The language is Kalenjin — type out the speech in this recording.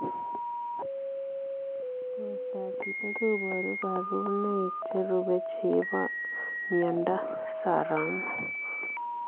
Portoop chitoo kobaruu kabarunaik cherubei chepoo miondoop�soromok